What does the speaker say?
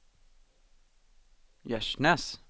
Gärsnäs